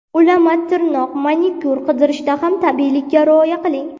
Ulama tirnoq Manikyur qildirishda ham tabiiylikka rioya qiling.